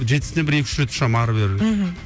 жетісіне бері екі үш рет ұшамын ары бері мхм